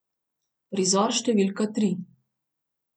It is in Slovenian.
Prizor številka tri.